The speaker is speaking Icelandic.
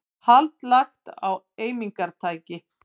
Hald lagt á eimingartæki